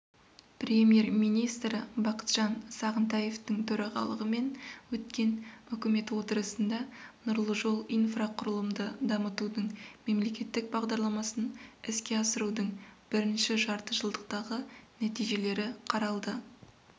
премьер-министрі бақытжан сағынтаевтың төрағалығымен өткен үкімет отырысында нұрлы жол инфрақұрылымды дамытудың мемлекеттік бағдарламасын іске асырудың бірінші жартыжылдықтағы нәтижелері қаралды